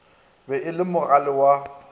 be e le mogale wa